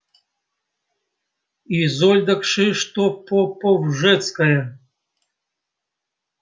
изольда кшыштопоповжецкая